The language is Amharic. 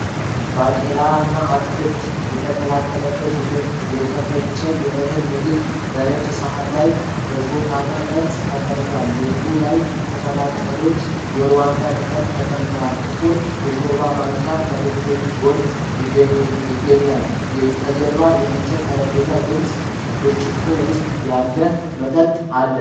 ባቄላና አትክልት የተቀላቀለበት የተፈጨ የእህል ምግብ በነጭ ሳህን ላይ በሾጣጣ ቅርጽ ተቀምጧል። ምግቡ ላይ ቅጠላ ቅጠሎችና የሩዋንዳ ቅጠል ተቀምጠዋል። ጥቁር የሾርባ ማንኪያ ከምግቡ ጎን ይገኛል። ከጀርባ የእንጨት ጠረጴዛና ግልጽ ብርጭቆ ውስጥ ያለ መጠጥ አለ።